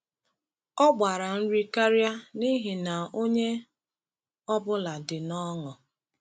Ọ gbara nri karịa n’ihi na onye ọ bụla dị n’ọṅụ.